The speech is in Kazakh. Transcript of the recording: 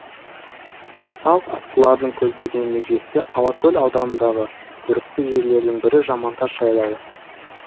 салт аттылардың көздеген межесі алакөл ауданындағы көрікті жерлердің бірі жамантас жайлауы